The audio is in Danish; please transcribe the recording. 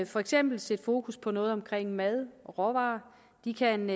for eksempel sætte fokus på noget omkring mad og råvarer de kan